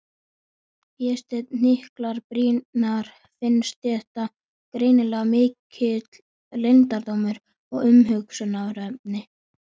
Vésteinn hnyklar brýnnar, finnst þetta greinilega mikill leyndardómur og umhugsunarefni.